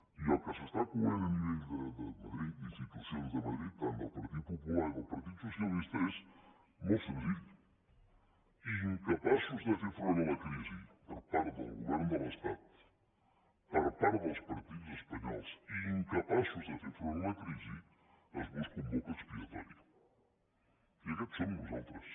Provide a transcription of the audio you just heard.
i el que s’està coent a nivell de madrid d’institucions de madrid tant del partit popular com del partit socialista és molt senzill incapaços de fer front a la crisi per part del govern de l’estat per part dels partits espanyols i incapaços de fer front a la crisi es busca un boc expiatori i aquest som nosaltres